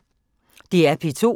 DR P2